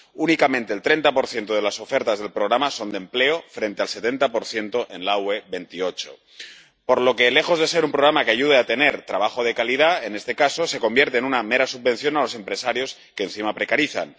Únicamente el 30 de las ofertas del programa son de empleo, frente al 70 en la UE 28, por lo que, lejos de ser un programa que ayude a tener trabajo de calidad, en este caso se convierte en una mera subvención a los empresarios, que encima precarizan.